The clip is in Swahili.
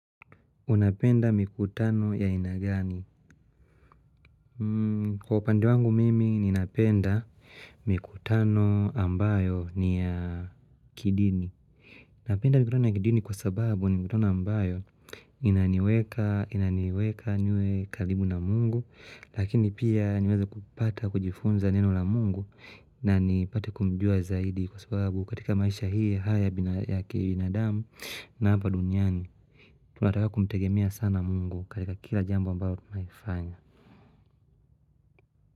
Unapenda mikutano ya aina gani? Kwa upande wangu mimi, ninapenda mikutano ambayo ni ya kidini. Napenda mikutano ya kidini kwa sababu, ni mikutano ambayo inaniweka inaniweka niwe karibu na Muungu, lakini pia niweze kupata, kujifunza neno la Mungu, na nipate kumjua zaidi kwa sababu katika maisha hii haya yaki binadamu na hapa duniani. Tunataka kumtegemea sana Mungu katika kila jambo ambalo tunalifanya.